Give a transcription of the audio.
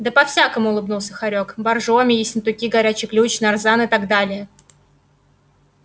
да по-всякому улыбнулся хорёк боржоми ессентуки горячий ключ нарзан и так далее